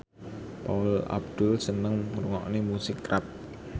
Paula Abdul seneng ngrungokne musik rap